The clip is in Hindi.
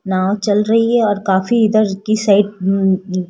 नाव चल रही है और काफी इधर की साइड --